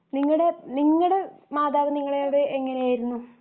നിങ്ങടെ നിങ്ങടെ മാതാവ് നിങ്ങളോട് എങ്ങനെയായിരുന്നു